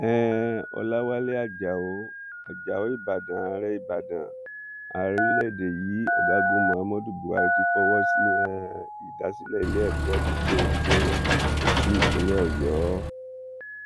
um ọlàwálẹ ajáò ajáò ìbàdàn ààrẹ ìbàdàn ààrẹ orílẹèdè yìí ọgágun muhammadu buhari ti fọwọ sí um ìdásílẹ iléèkọ gbọgbónésẹ sí ìpínlẹ ọyọ